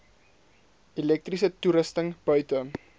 elektriese toerusting buite